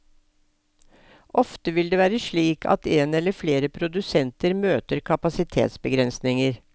Ofte vil det være slik at en eller flere produsenter møter kapasitetsbegrensninger.